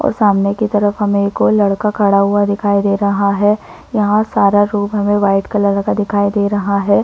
और सामने की तफर हमे एक और लड़का खड़ा हुआ दिखाई दे रहा है यहाँ सारा रूम हमे वाइट कलर का दिखाई दे रहा है।